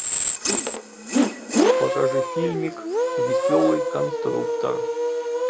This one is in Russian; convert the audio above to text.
покажи фильмик веселый конструктор